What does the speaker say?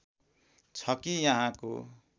छ कि यहाँको